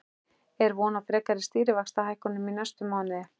En er von á frekari stýrivaxtahækkunum í næsta mánuði?